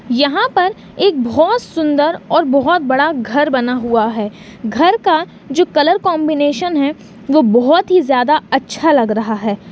यहा पर एक बहुत सुन्दर और बहोत बड़ा घर बना हुवा है घर का जो कलर कोम्बिनेसन है वो बहोत ही ज्यादा अच्छा लग रहा है।